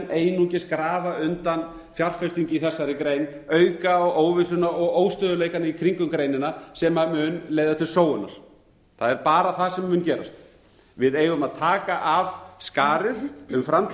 einungis grafa undan fjárfestingu í þessari grein auka á óvissuna og óstöðugleikann í kringum greinina sem mun leiða til sóunar það er bara það sem mun gerast við eigum að taka af skarið um framtíð